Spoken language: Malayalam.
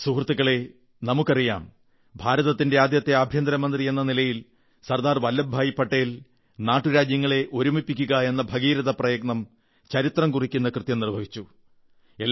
സുഹൃത്തുക്കളേ നമുക്കറിയാം ഭാരതത്തിന്റെ ആദ്യത്തെ ആഭ്യന്തര മന്ത്രി എന്ന നിലയിൽ സർദ്ദാർ വല്ലഭഭായി പട്ടേൽ നാട്ടുരാജ്യങ്ങളെ ഒരുമിപ്പിക്കുകയെന്ന ഭഗീരഥപ്രയത്നം ചരിത്രം കുറിക്കുന്ന കൃത്യം നിർവ്വഹിച്ചു